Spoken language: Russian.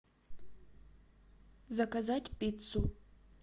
заказать пиццу